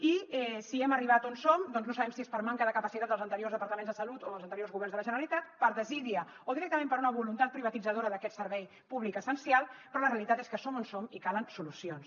i si hem arribat on som doncs no sabem si és per manca de capacitat dels anteriors departaments de salut o dels anteriors governs de la generalitat per desídia o directament per una voluntat privatitzadora d’aquest servei públic essencial però la realitat és que som on som i calen solucions